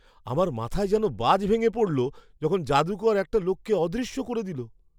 আমার মাথায় যেন বাজ ভেঙে পড়ল যখন যাদুকর একটা লোককে অদৃশ্য করে দিলো!